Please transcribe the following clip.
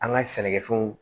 An ka sɛnɛkɛfɛnw